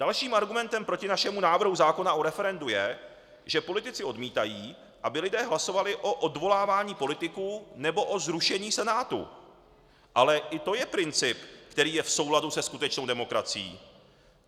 Dalším argumentem proti našemu návrhu zákona o referendu je, že politici odmítají, aby lidé hlasovali o odvolávání politiků nebo o zrušení Senátu, ale i to je princip, který je v souladu se skutečnou demokracií.